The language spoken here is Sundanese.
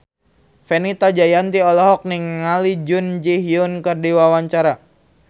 Fenita Jayanti olohok ningali Jun Ji Hyun keur diwawancara